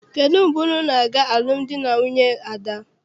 Kedụ mgbe unu na-aga alụmdi na nwunye Ada?